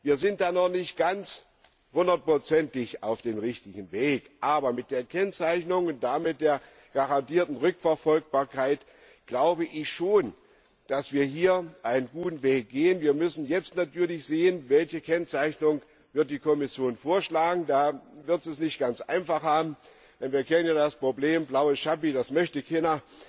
Wir sind da noch nicht hundertprozentig auf dem richtigen Weg, aber mit der Kennzeichnung und der garantierten Rückverfolgbarkeit glaube ich schon, dass wir hier einen guten Weg gehen. Wir müssen jetzt natürlich sehen, welche Kennzeichnung die Kommission vorschlagen wird. Da wird sie es nicht ganz einfach haben, denn wir kennen das Problem ja Blaues Chappi, das möchte keiner.